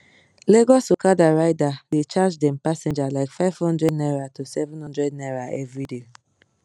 lagos okada rider dey charge dem passenger like five hundred naira to seven hundred naira everyday